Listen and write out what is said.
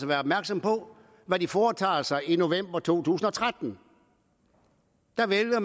være opmærksomme på hvad de foretager sig i november to tusind og tretten der vælger